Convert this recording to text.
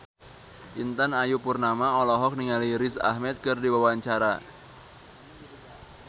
Intan Ayu Purnama olohok ningali Riz Ahmed keur diwawancara